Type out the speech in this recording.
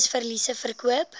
surplus verliese verkoop